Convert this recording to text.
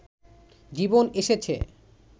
জীবন এসেছে